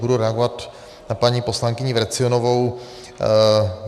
Budu reagovat na paní poslankyni Vrecionovou.